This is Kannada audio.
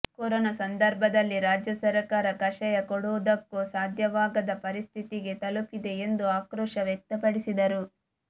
ಕೊರೋನಾ ಸಂದರ್ಭದಲ್ಲಿ ರಾಜ್ಯ ಸರಕಾರ ಕಷಾಯ ಕೊಡುವುದಕ್ಕೂ ಸಾಧ್ಯವಾಗದ ಪರಿಸ್ಥಿತಿಗೆ ತಲುಪಿದೆ ಎಂದು ಆಕ್ರೋಶ ವ್ಯಕ್ತಪಡಿಸಿದರು